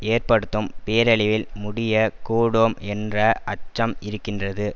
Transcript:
ஏற்படுத்தும் பேரழிவில் முடியக் கூடும் என்ற அச்சம் இருக்கின்றது